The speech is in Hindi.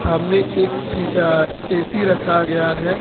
सामने एक ऐ_सी रखा गया है।